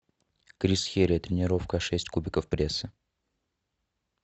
крис херия тренировка шесть кубиков пресса